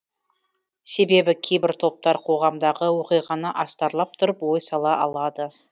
себебі кейбір топтар қоғамдағы оқиғаны астарлап тұрып ой сала алады